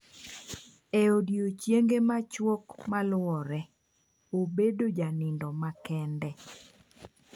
E odiechienge machuok maluore, abedo janindo kende.